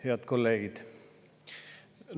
Head kolleegid!